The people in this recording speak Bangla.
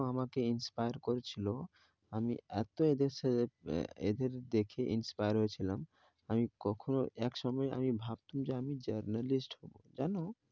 তো আমাকে inspire করেছিল, আমি এত এদের সাথে, এদের দেখে inspire হয়েছিলাম, আমি কখনো, এক সময় আমি ভাবতাম journalist হবো. জানো।